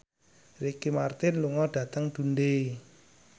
Ricky Martin lunga dhateng Dundee